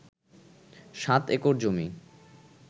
৭ acre জমি